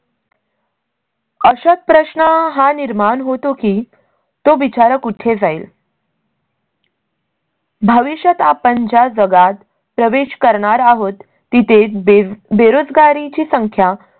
अशात प्रश्न हा निर्माण होतो की तो बिचारा कुठे जाईल? भविष्यात आपण ज्या जगात प्रवेश करणार आहोत तिथे बेरोजगारी ची संख्या